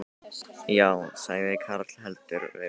Já, sagði karl heldur vel með sig.